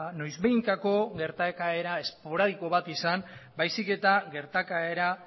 noizbehinkako gertakaera esporadiko bat izan baizik eta gertakaera